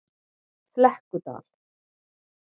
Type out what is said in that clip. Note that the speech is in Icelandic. Flekkudal